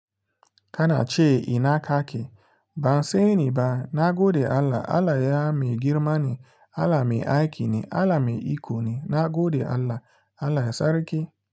Kana ce ina ka ke? Ban sani ba. Na gode Allah. Allah ya mai girma ne, Allah mai aiki ne. Allah mai iko ne, nagode Allah, Allah sarki.